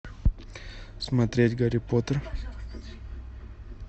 смотреть гарри поттер